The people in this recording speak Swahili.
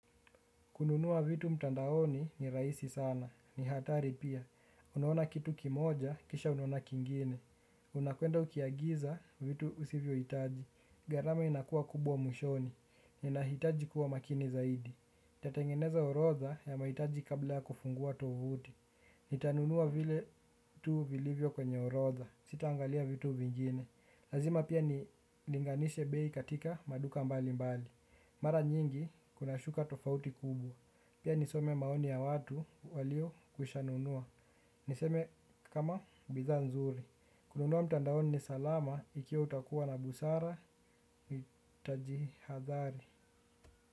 Kununua vitu mtandaoni ni rahisi sana. Ni hatari pia. Unaona kitu kimoja, kisha unaona kingine. Unakwenda ukiagiza vitu usivyohitaji. Gharama inakuwa kubwa mwishoni. Inahitaji kuwa makini zaidi. Nitatengeneza orodha ya mahitaji kabla ya kufungua tovuti. Nitanunua vile tu vilivyo kwenye orodha Sitaangalia vitu vingine. Lazima pia nilinganishe bei katika maduka mbali mbali. Mara nyingi kunashuka tofauti kubwa. Pia nisome maoni ya watu waliokwishanunua. Niseme kama bidhaa nzuri. Kununua mtandaoni ni salama ikiwa utakuwa na busara nitajihadhari.